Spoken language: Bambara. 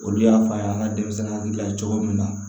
Olu y'a fɔ an ye an ka denmisɛnnin dilan cogo min na